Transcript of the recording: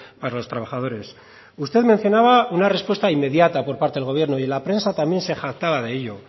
para los trabajadores usted mencionaba una respuesta inmediata por parte del gobierno y en la prensa también se jactaba de ello